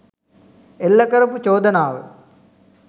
එල්ල කරපු චෝදනාව